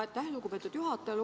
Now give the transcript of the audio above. Aitäh, lugupeetud juhataja!